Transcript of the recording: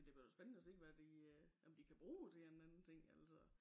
Men det bliver da spændende at se hvad de øh om da kan bruge til en anden ting altså